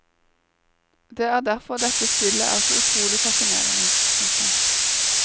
Det er derfor dette spillet er så utrolig fascinerende. punktum